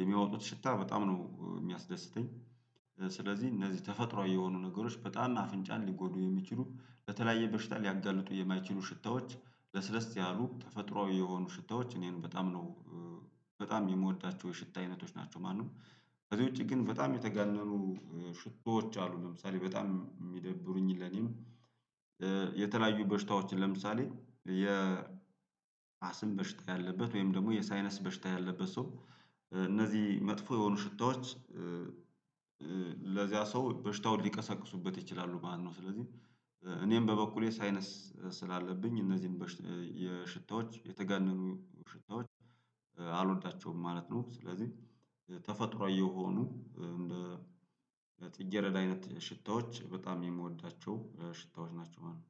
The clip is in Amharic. የሚያወጡት ሽታ በጣም ነው የሚያስደስተኝ ስለዚህ እነዚህ ተፈጥሮአዊ የሆኑ ነገሮች በጣም አፍንጫን ሊጎዱ የሚችሉ ለተለያየ በሽታ ሊያጋልጡ የማይችሉ ሽታዎች ለስለስ ያሉ ተፈጥሮአዊ የሆኑ ሽታዎች እኔን በጣም ነው በጣም የምወዳቸው የሽታ አይነቶች ናቸው ማንም ከዚህ ውጪ ግን በጣም የተጋነኑ ሽቶዎች አሉ ለምሳሌ በጣም የሚደብሩኝ ለኔም የተለያዩ በሽታዎችን ለምሳሌ የ አስም በሽታ ያለበት ወይም ደግሞ የሳይነስ በሽታ ያለበት ሰው እነዚህ መጥፎ የሆኑ ሽታዎች ለዚያ ሰው በሽታውን ሊቀሰቅሱበት ይችላሉ ማለት ነው ስለዚህ እኔም በበኩሌ ሳይነስ ስላለብኝ እነዚህን ሽታዎች የተገነኑ ሽታዎች አልወዳቸውም ማለት ነው ስለዚህ ተፈጥሮአዊ የሆኑ እንደ ጥጌረዳ አይነት ሽታዎች በጣም የምወዳቸው ሽታዎች ናቸው ማለት ነው።